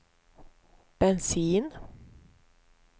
bensin